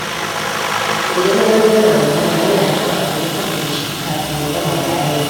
Idan wani yana magana, yana da kyau a guji katse shi kafin ya gama bayani.